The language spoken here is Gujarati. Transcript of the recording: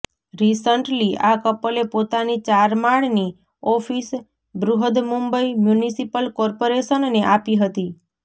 રિસન્ટલી આ કપલે પોતાની ચાર માળની ઓફિસ બૃહદમુંબઈ મ્યુનિસિપલ કોર્પોરેશનને આપી હતી